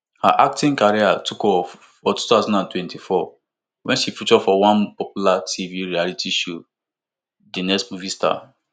her acting career take off for two thousand and twenty-four wen she feature for one popular tv reality show di next movie star